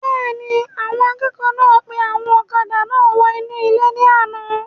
Bẹ́ẹ̀ni, àwọn akẹ́kọ̀ọ́ náà gbé àwọn ọ̀kadà náà wọ inú ilé ní àna